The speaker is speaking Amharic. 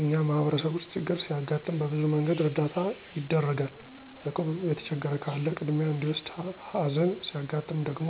እኛ ማህበረሰብ ውስጥ ችግር ሲያጋጥም በብዙ መንገድ እርዳታ ይደርጋል። እቁብ' የተቸገር ካለ ቅድሚያ እዲወሰድ ሀዘን' ሲያጋጥም ደግሞ